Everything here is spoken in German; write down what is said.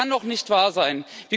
Das kann doch nicht wahr sein!